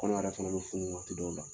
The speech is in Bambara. Kɔnɔ yɛrɛ fana bɛ funu waati dɔw la